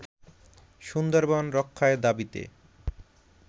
সুন্দরবন রক্ষায় দাবিতে